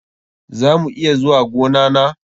Za mu iya zuwa gona na?